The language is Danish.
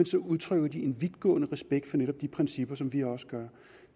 så udtrykker de en vidtgående respekt for netop de principper som vi også